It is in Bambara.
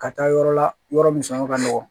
Ka taa yɔrɔ la yɔrɔ min sanu ka nɔgɔn